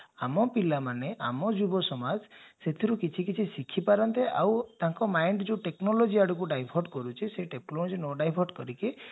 ଆମ ପିଲାମାନେ ଆମ ଯୁବସମାଜ ସେଥିରେ କିଛି କିଛି ଶିଖି ପାରନ୍ତେ ଆଉ ତାଙ୍କ mind ଯଉ technology divert ନ divert କରିକି